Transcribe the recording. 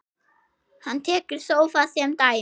Hann tekur sófa sem dæmi.